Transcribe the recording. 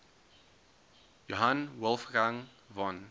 johann wolfgang von